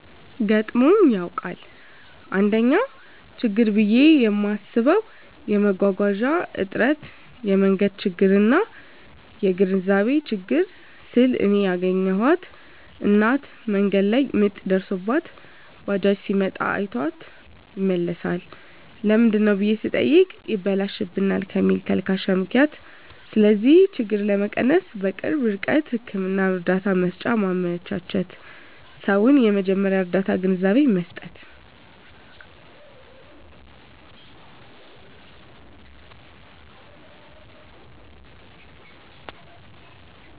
ገጥሞኝ ያዉቃል: 1ኛ :ችግር ብየ ማስበዉ የመጓጓዣ እጥረት የመንገድ ችግርና : (የግንዛቤ ችግር) ስል እኔ ያገኘኋት እናት መንገድ ላይ ምጥ ደርሶባት ባጃጅ ሲመጣ አይቷት ይመለሳል ለምንድነው ብየ ስጠይቅ ይበላሽብናል ከሚል ተልካሻ ምክንያት ስለዚህ ችግር ለመቀነስ_በቅርብ ርቀት ህክምና እርዳታ መሰጫ ማመቻቸትና: ሰዉን የመጀመርያ ርዳታ ግንዛቤ መስጠት።